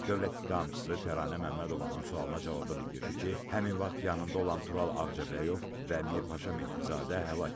Dövlət ittihamçısı Təranə Məmmədovanın sualına cavabda bildirdi ki, həmin vaxt yanında olan Tural Ağcabəyov və Mirpaşa Mehdizadə həlak olub.